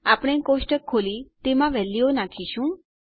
આપણે કોષ્ટક ખોલી તેમાં વેલ્યુઓ નાખીશું